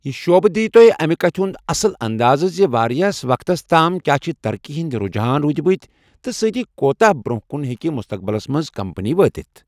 یہِ شعبہٕ دِیہ تۄہہِ امہِ کتھہِ ہُنٛد اصل اندازٕ زِ واریاہَس وَقتَس تام کیا چھِ ترقی ہنٛدۍ رُجحان روٗدمٕت تہٕ سۭتی کوٗتاہ برٛونٛہہ کُن ہیٚکہِ مستقبِلس منٛز کمپنی وٲتِتھ۔